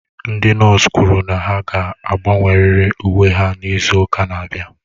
Ndị nọọsụ kwụrụ na ha ga-agbanwerịrị uwe ha n'izu ụka na-abịa